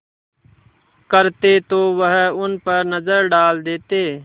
करते तो वह उन पर नज़र डाल लेते